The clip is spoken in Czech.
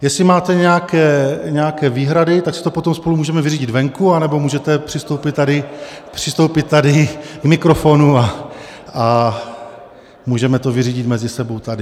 Jestli máte nějaké výhrady, tak si to potom spolu můžeme vyřídit venku, anebo můžete přistoupit tady k mikrofonu a můžeme to vyřídit mezi sebou tady.